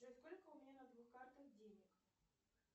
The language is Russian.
джой сколько у меня на двух картах денег